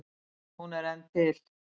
Hún er enn til.